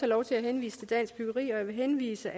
lov til at henvise til dansk byggeri jeg vil henvise